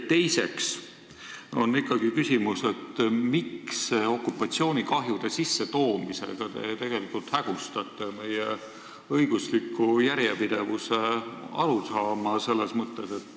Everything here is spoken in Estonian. Teiseks on ikkagi küsimus, miks te okupatsioonikahjude sissetoomisega tegelikult hägustate meie õigusliku järjepidevuse arusaama.